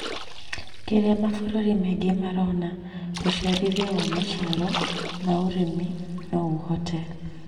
kĩrĩa mabũrũri maingĩ marona. ũciarithania wa maciaro ma ũrĩmi no ũhote